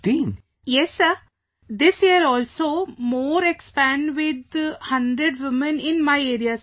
Vijayashanti ji Yes sir, this year also more expand with 100 women in my area